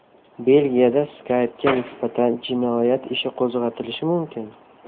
Belgiyada Skype’ga nisbatan jinoyat ishi qo‘zg‘atilishi mumkin.